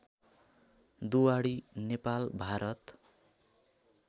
Duwadi Nepal Bharat